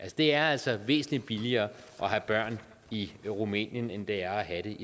det er altså væsentlig billigere at have børn i rumænien end det er at have